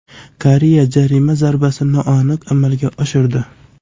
Koreya jarima zarbasini noaniq amalga oshirdi.